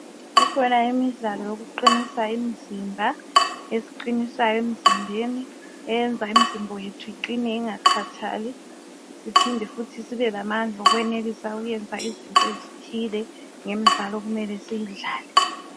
Kukhona imidlalo yokuqinisa imizimba esiqinisayo emzimbeni eyenza imizimba yethu iqine ingakhathali siphinde futhi sibelamandla okwenelisa okwenza ezinto ezithile ngemidlalo okumele siyidlale.